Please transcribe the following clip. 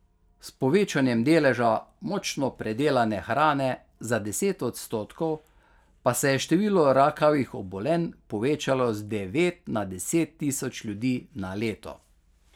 S povečanjem deleža močno predelane hrane za deset odstotkov pa se je število rakavih obolenj povečalo z devet na deset tisoč ljudi na leto.